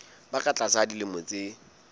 ba ka tlasa dilemo tse